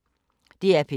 DR P3